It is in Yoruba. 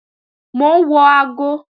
Mò ń wo aago